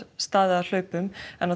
staðið að hlaupum